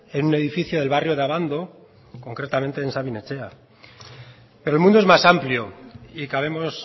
en un edificio del barrio de abando concretamente en sabin etxea pero el mundo es más amplio y cabemos